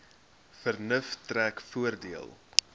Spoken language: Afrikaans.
vernuf trek voordeel